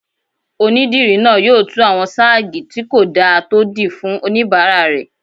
Onídìrí náà yóò tú àwọn sáàgì tí kò dáa tó dì fún oníbàárà rẹ̀